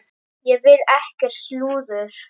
Ég vil ekkert slúður.